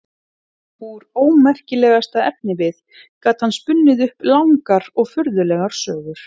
Úr ómerkilegasta efnivið gat hann spunnið upp langar og furðulegar sögur.